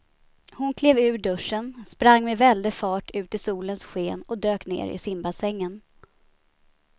Hon klev ur duschen, sprang med väldig fart ut i solens sken och dök ner i simbassängen.